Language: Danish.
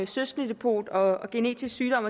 søskendedepot og genetisk sygdom